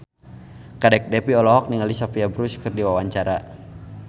Kadek Devi olohok ningali Sophia Bush keur diwawancara